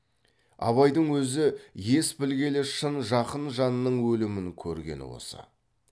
абайдың өзі ес білгелі шын жақын жанның өлімін көргені осы